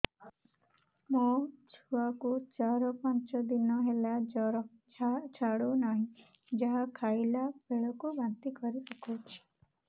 ମୋ ଛୁଆ କୁ ଚାର ପାଞ୍ଚ ଦିନ ହେଲା ଜର ଛାଡୁ ନାହିଁ ଯାହା ଖାଇଲା ବେଳକୁ ବାନ୍ତି କରି ପକଉଛି